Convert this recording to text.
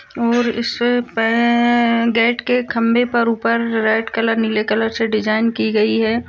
और इस पे अ अ गेट के खंभे पर ऊपर रेड कलर नीले कलर से डिजाइन की गई है।